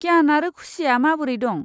क्यान आरो खुसिया माबोरै दं?